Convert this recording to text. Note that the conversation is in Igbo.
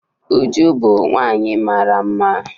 Uju bu nwanyi mara mma.